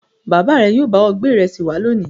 Bàbá rẹ yóò bá ọ gbé ìrẹsì wá lónìí.